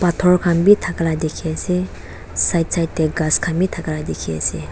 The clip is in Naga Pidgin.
phator khan bi thaka laka dikhiase side side tae ghas khan bi thakala dikhiase.